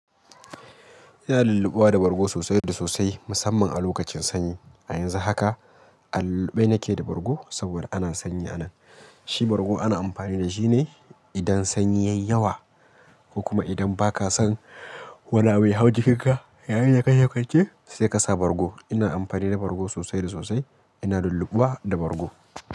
Ina lullupuwa da bargo sosai da sosai musamman a lokacin sanyi. A yanzu haka a lullupe nake da bargo saboda ana sanyi a nan. Shi bargo ana amfani da shi ne idan sanyin yayi yawa ko kuma idan ba ka san wanene ya hau jikinka, ya yi da kake kwance sai ka sa bargo. Ina amfani da bargo sosai da sosai. Ina lullubawa da bargo.